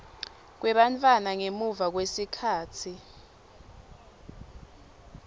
kwebantfwana ngemuva kwesikhatsi